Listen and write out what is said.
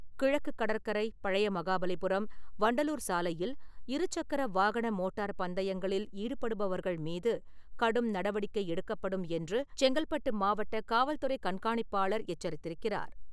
கிழக்கு கடற்கரை, பழைய மகாபலிபுரம், வண்டலூர் சாலையில் இருசக்கர வாகன மோட்டார் பந்தயங்களில் ஈடுபடுபவர்கள் மீது கடும் நடவடிக்கை எடுக்கப்படும் என்று, செங்கல்பட்டு மாவட்ட காவல்துறை கண்காணிப்பாளர் எச்சரித்திருக்கிறார்.